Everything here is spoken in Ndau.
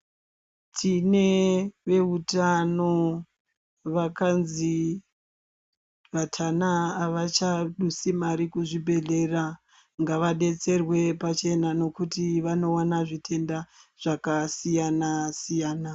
Tinevehutano vakanzi vatana avachadusi mari kuzvibhedhlera. Ngavabetserwe pachena nokuti vanowana zvitenda zvakasiyana siyana.